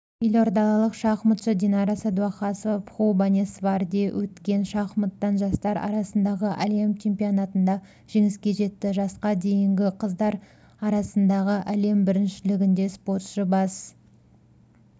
елордалық шахматшы динара сәдуақасова бхубанесварде өткен шахматтан жастар арасындағы әлем чемпионатында жеңіске жетті жасқа дейінгі қыздар арасындағы әлем біріншілігінде спортшы бас